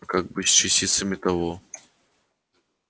как быть с частицами того